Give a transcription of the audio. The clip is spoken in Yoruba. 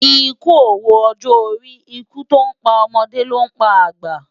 Ikú ówó òjò óri Ikú tó n pá òmòdé ló n pá ágbá